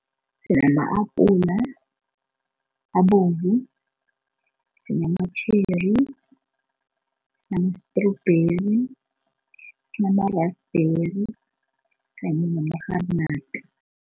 Sinama-apula abovu, sinamatjheri, sinamastrubheri, sinamarasibheri kanye namarharinadi.